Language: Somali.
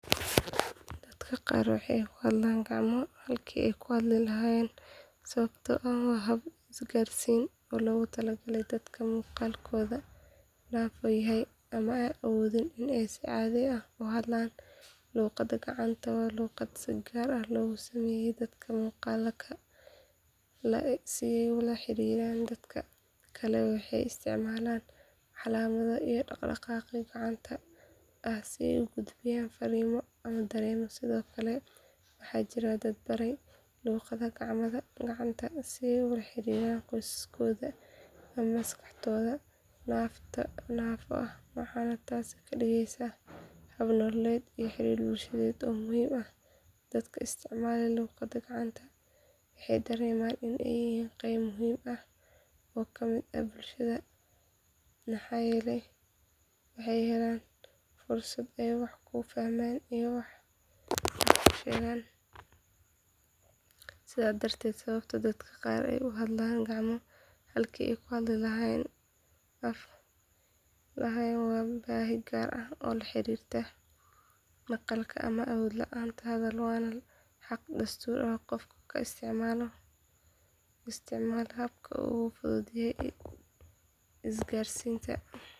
Dadka qaar waxay ku hadlaan gacmo halkii ay af ku hadli lahaayeen sababtoo ah waa hab isgaarsiineed oo loogu talagalay dadka maqalkoodu naafo yahay ama aan awoodin in ay si caadi ah u hadlaan luqadda gacanta waa luqad si gaar ah loogu sameeyay dadka maqalka la’ si ay ula xiriiraan dadka kale waxay u isticmaalaan calaamado iyo dhaqdhaqaaqyo gacanta ah si ay u gudbiyaan farriimo ama dareenno sidoo kale waxaa jira dad baray luqadda gacanta si ay ula xiriiraan qoysaskooda ama asxaabtooda naafo ah waxaana taasi ka dhigeysaa hab nololeed iyo xiriir bulsheed oo muhiim ah dadka isticmaala luqadda gacanta waxay dareemaan in ay yihiin qayb muhiim ah oo ka mid ah bulshada maxaa yeelay waxay helayaan fursad ay wax ku fahmaan iyo wax ku sheegaan sidaas darteed sababta dadka qaar ay u hadlaan gacmo halkii ay af ku hadli lahaayeen waa baahi gaar ah oo la xiriirta maqalka ama awood la’aanta hadal waana xaq dastuuri ah in qof kasta uu isticmaalo habka uu ugu fudud yahay isgaarsiinta.